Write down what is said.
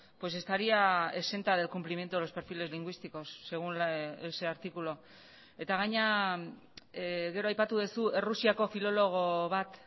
pues estaría exenta del cumplimiento de los perfiles lingüísticos según ese artículo eta gainera gero aipatu duzu errusiako filologo bat